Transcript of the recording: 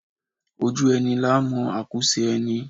Ojú ẹni làá mọ àkúùsin ẹni